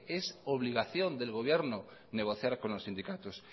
es obligación del gobierno negociar con los sindicatos